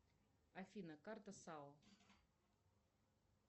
афина карта сао